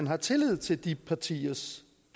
har tillid til de partiers